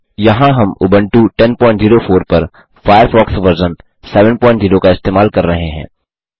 इस हम उबंटू 1004 पर फ़ायरफ़ॉक्स वर्ज़न 70 का इस्तेमाल कर रहे हैं